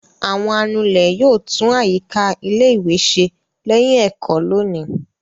Àwọn anulẹ̀ yóò tún àyíká ilé-ìwé ṣe lẹ́yìn ẹ̀kọ́ lónìí.